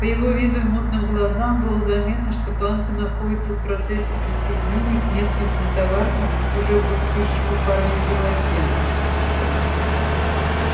по его виду и мутным глазам было заметно что банка находится в процессе присоединения к нескольким товаркам уже булькающим у парня в животе